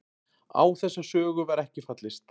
Á þessa sögu var ekki fallist